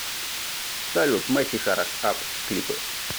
салют мэсих араш ап клипы